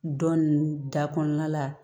Dɔ ninnu da kɔnɔna la